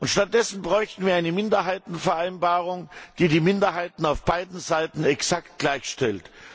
Stattdessen bräuchten wir eine Minderheitenvereinbarung, die die Minderheiten auf beiden Seiten exakt gleichstellt.